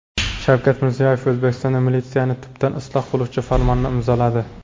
Shavkat Mirziyoyev O‘zbekistonda militsiyani tubdan isloh qiluvchi farmonni imzoladi.